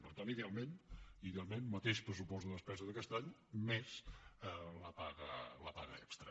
per tant idealment idealment mateix pressupost de despesa d’aquest any més la paga extra